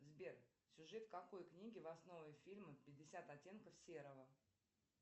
сбер сюжет какой книги в основе фильма пятьдесят оттенков серого